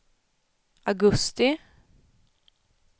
augusti